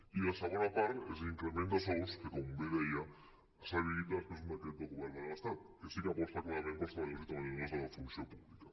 i la segona part és l’increment de sous que com bé deia s’habilita després d’un decret del govern de l’estat que sí que aposta clarament pels treballadors i treballadores de la funció pública